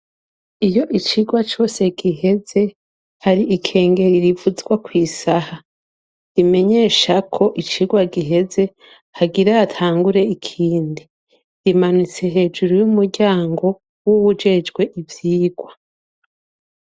iyo icigwa cose giheze hari ikengeri rivuzwa ku isaha imenyesha ko icigwa giheze hagiratangure ikindi rimanutse hejuru y'umuryango w'uwujejwe ibyirwa.